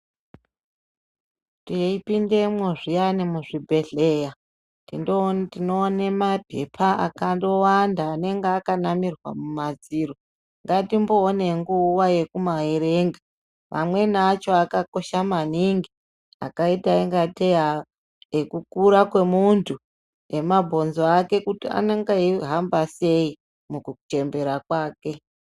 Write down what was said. Tei pindemo zviyani muzvi bhedhlera, tinoone maphepha akandowanda anenge akanamirwa mumadziro, ngatimboona nguva yekumaerenga. Mamweni acho akakosha maningi, akaita ingatei, ekukura kwemuntu, emabhonzo ake kuti anenge eihamba sei mukuchembera kwake.